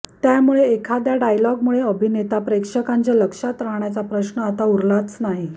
त्यामुळे एखाद्या डायलॉगमुळे अभिनेता प्रेक्षकांच्या लक्षात राहाण्याचा प्रश्न आता उरलाच नाही